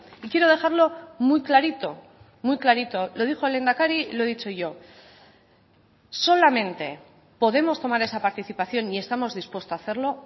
y quiero dejarlo muy clarito muy clarito lo dijo el lehendakari y lo he dicho yo solamente podemos tomar esa participación y estamos dispuesto a hacerlo